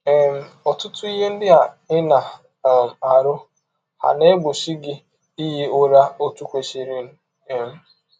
um Ọtụtụ ihe ndị ị na um - arụ hà na - egbọchi gị ihi ụra ọtụ kwesịrịnụ um?